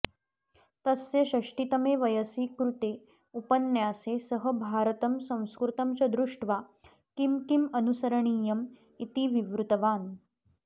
तस्य षष्टितमे वयसि कृते उपन्यासे सः भारतं संस्कृतं च दृष्ट्वा किं किम् अनुसरणीयम् इति विवृतवान्